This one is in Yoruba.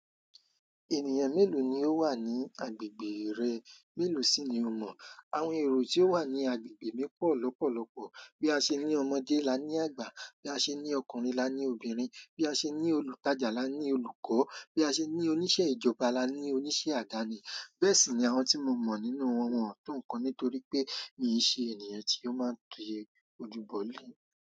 Ènìyàn mélòó ni ó wà ní agbègbè rẹ? Mélòó sì ni o mọ̀? Àwọn èrò tí ó wà ní agbègbè mi pọ̀ lọ́pọ̀lọ́pọ̀. Bí a ṣe ní ọmọdé, la ní àgbà. Bí a ṣe ní ọkùnrin, la ní obìnrin. Bí a ṣe ní olùtajà, la ní olùkọ́. Bí a ṣe ní oníṣẹ́ ìjọba, la ní oníṣẹ́ àdáni. Bẹ́ẹ̀ sì ni àwọn tí mo mọ̀ nínú wọn won o po nítorí pé mi n ṣe ènìyàn tí ó máa ń ki ojú bọ̀ lé.